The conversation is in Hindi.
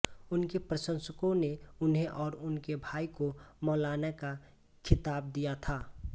उनके प्रशंसकों ने उन्हें और उनके भाई को मौलाना का खिताब दिया था